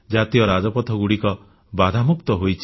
ଜାତୀୟ ରାଜପଥଗୁଡ଼ିକ ବାଧାମୁକ୍ତ ହୋଇଛି